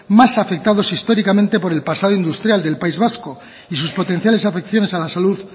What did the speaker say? más afectado históricamente por el pasado industrial del país vasco y sus potenciales afecciones a la salud